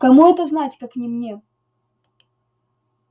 кому это знать как не мне